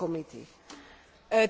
Frau Präsidentin!